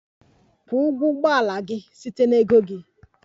Kwụọ ụgwọ ụgbọ ala gị site na ego gị!